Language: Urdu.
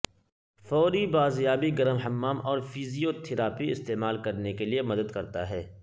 فوری بازیابی گرم حمام اور فزیوتھراپی استعمال کرنے کے لئے مدد کرتا ہے